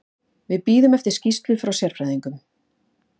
Við bíðum eftir skýrslu frá sérfræðingnum.